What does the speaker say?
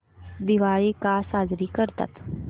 दिवाळी का साजरी करतात